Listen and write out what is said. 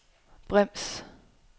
brems